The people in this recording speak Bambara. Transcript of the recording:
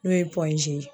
N'o ye ye